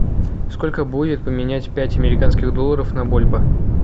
сколько будет поменять пять американских долларов на бальбоа